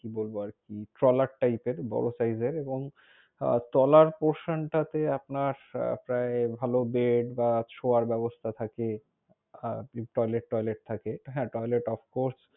কি বলব আরকি, ট্রলার type এর। বড়ো size এর এবং আহ তলার portion তাতে আপনার আহ প্রায় ভালও bed বা শোয়ার ব্যবস্থা থাকে, toilettoilet থাকে। হ্যাঁ toilet obcourse,